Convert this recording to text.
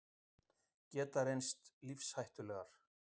Geta reynst lífshættulegar